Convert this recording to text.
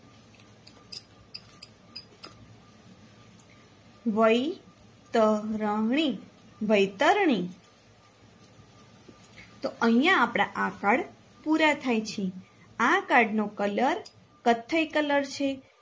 વૈતરણી વૈતરણીતો અહિયાં આપના આ card પૂરા થાય છે આ card નો કલર કથ્થઈ કલર છે.